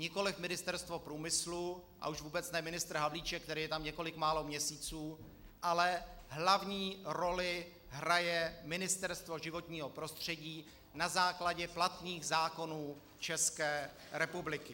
Nikoliv Ministerstvo průmyslu, a už vůbec ne ministr Havlíček, který je tam několik málo měsíců, ale hlavní roli hraje Ministerstvo životního prostředí na základě platných zákonů České republiky.